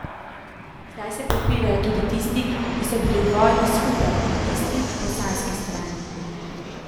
Zdaj se prepirajo tudi tisti, ki so bili v vojni skupaj, na isti, bosanski strani.